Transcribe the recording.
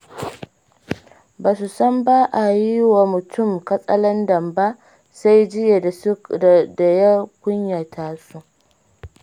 Ba su san ba a yi wa mutun katsalandan ba, sai jiya da ya kunyata su.